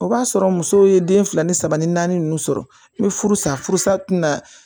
O b'a sɔrɔ musow ye den fila ni saba ni naani ninnu sɔrɔ n bɛ furu sa furu sa tɛna